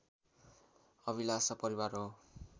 अभिलाषा परिवार हो